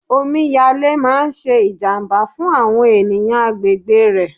Omi yalé máa ń ṣe ìjàmbá fún àwọn ènìyàn agbègbè rẹ̀.